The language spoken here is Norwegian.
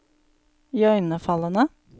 iøynefallende